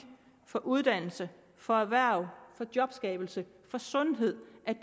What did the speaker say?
for uddannelse for erhverv for jobskabelse for sundhed